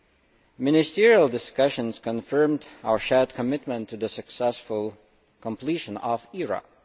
The Ministerial discussions confirmed our shared commitment to the successful completion of